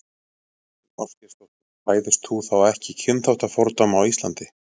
Þóra Kristín Ásgeirsdóttir: Hræðist þú þá ekki kynþáttafordóma á Íslandi?